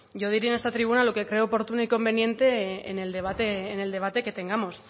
yo diré en esta tribuna lo que crea oportuno y conveniente en el debate que tengamos